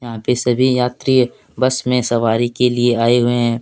यहां पर सभी यात्री बस में सवारी के लिए आए हैं।